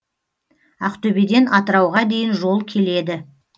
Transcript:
ақтөбеден атырауға дейін жол келеді